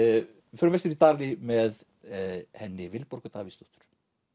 við förum vestur í Dali með henni Vilborgu Davíðsdóttur